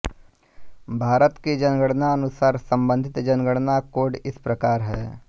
भारत की जनगणना अनुसार सम्बंधित जनगणना कोड इस प्रकार हैं